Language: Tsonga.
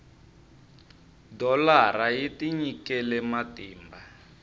dholara yi tinyikele matimba